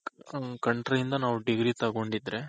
ಆ country ಇಂದ ನಾವು degree ತಗೊಂಡಿದ್ರೆ.